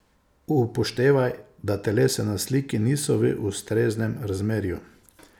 Upoštevaj, da telesa na sliki niso v ustreznem razmerju!